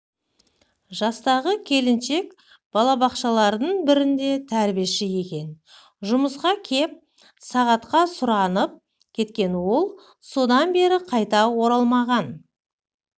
жастағы келіншек балабақшалардың бірінде тәрбиеші екен жұмысқа кеп сағатқа сұранып кеткен ол содан бері қайта оралмаған